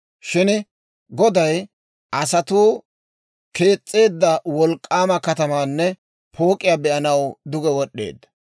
Shin Goday asatuu kees's'eedda wolk'k'aama katamaanne pook'iyaa be'anaw duge wod'd'eedda;